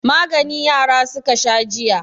Magani yara suka sha jiya.